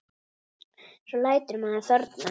Svo lætur maður þorna.